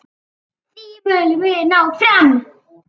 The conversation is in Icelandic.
Því viljum við ná fram.